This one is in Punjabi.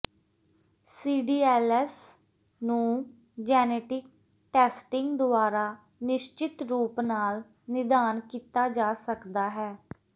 ਸੀਡੀਐਲਐਸ ਨੂੰ ਜੈਨੇਟਿਕ ਟੈਸਟਿੰਗ ਦੁਆਰਾ ਨਿਸ਼ਚਿਤ ਰੂਪ ਨਾਲ ਨਿਦਾਨ ਕੀਤਾ ਜਾ ਸਕਦਾ ਹੈ